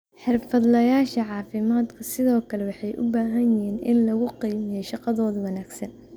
Xirfadlayaasha caafimaadka sidoo kale waxay u baahan yihiin in lagu qiimeeyo shaqadooda wanaagsan.